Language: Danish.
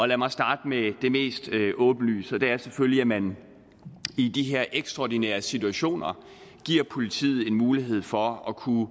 lad mig starte med det mest åbenlyse og det er selvfølgelig at man i de her ekstraordinære situationer giver politiet en mulighed for at kunne